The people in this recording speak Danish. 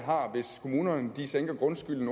vil det